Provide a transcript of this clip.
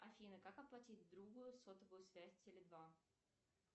афина как оплатить другу сотовую связь теле два